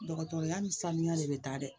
Dɔgɔtɔrɔya ni sanuya de bɛ taa dɛ